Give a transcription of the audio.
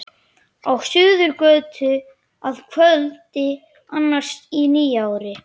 Á Suðurgötu að kvöldi annars í nýári.